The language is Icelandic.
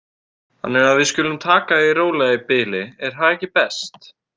Þannig að við skulum taka því rólega í bili, er það ekki best?